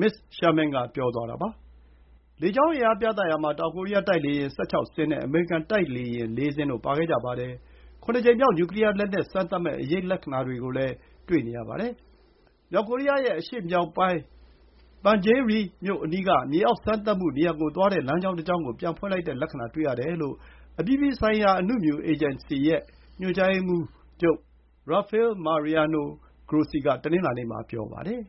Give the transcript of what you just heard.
မစ္စ Sherman က ပြောသွားတာပါ။ လေကြောင်းအင်အားပြသရာမှာ တောင်ကိုရီးယား တိုက်လေယာဉ် ၁၆ စင်း နဲ့ အမေရိကန် တိုက်လေယာဉ် ၄ စင်းတို့ ပါခဲ့ကြပါတယ်။ ခုနစ်ကြိမ်မြောက် နျူကလီယားလက်နက်စမ်းသပ်မယ့် အရိပ်လက္ခဏာတွေကိုလည်း တွေ့နေရပါတယ်။ အရှေ့မြောက်ပိုင်း Punggye-ri. မြို့အနီးက မြေအောက်စမ်းသပ်မှုနေရာကိုသွားတဲ့လမ်းကြောင်းတကြောင်းကို ပြန်ဖွင့်လိုက်တဲ့လက္ခဏာ တွေ့ရတယ်လို့ အပြည်ပြည်ဆိုင်ရာ အနုမြူစွမ်းအင် အေဂျင်စီရဲ့ ညွှန်ကြားရေးမှူးချုပ် Rafael Mariano Grossi က တနင်္လာနေ့ မှာ ပြောပါတယ်